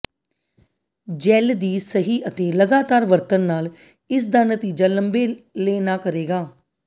gel ਦੀ ਸਹੀ ਅਤੇ ਲਗਾਤਾਰ ਵਰਤਣ ਨਾਲ ਇਸ ਦਾ ਨਤੀਜਾ ਲੰਬੇ ਲੈ ਨਾ ਕਰੇਗਾ